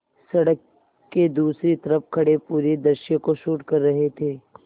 सड़क के दूसरी तरफ़ खड़े पूरे दृश्य को शूट कर रहे थे